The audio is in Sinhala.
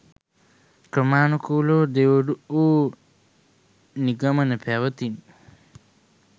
ක්‍රමානුකුලව දියුණු වූ නිගමන පැවැතිණි.